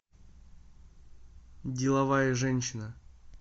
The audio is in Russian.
деловая женщина